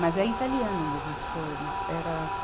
Mas é italiano mesmo esse poema. Era